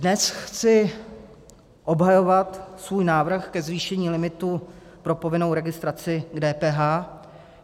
Dnes chci obhajovat svůj návrh ke zvýšení limitu pro povinnou registraci k DPH.